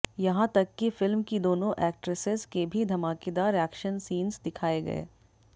यहां तक की फिल्म की दोनों एक्ट्रेसेस के भी धमाकेदार एक्शन सीन्स दिखाए गए